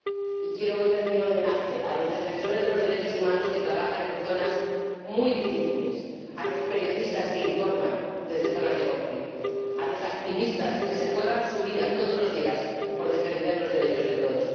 Y quiero, hoy, rendir homenaje a los defensores de los derechos humanos que trabajan en zonas muy difíciles, a los periodistas que informan desde zonas de conflictos, a los activistas que se juegan la vida todos los días por defender los derechos de todos.